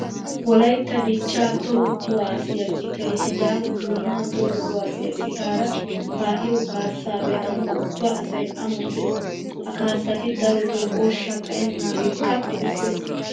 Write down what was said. Wolaytta dichchaa toho kuwaasiya citay sidaama bunnaa toho kuwaasiya citaara kaaa'iyo kaassaa be'anawu ubba asay amoxxees. Ha kaassati darotoo ooshshaa xayennaageekka qofissiyaba.